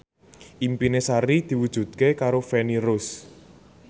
impine Sari diwujudke karo Feni Rose